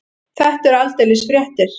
Þetta eru aldeilis fréttir.